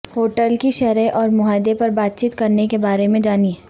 hotel کی شرح اور معاہدے پر بات چیت کرنے کے بارے میں جانیں